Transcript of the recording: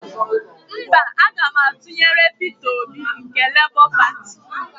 Mba, aga m atụnyere Peter Obi nke Lebọ Pati.